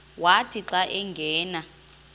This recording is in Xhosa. wathi xa angena